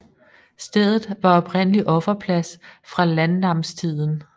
Stedet var oprindelig offerplads fra landnamstiden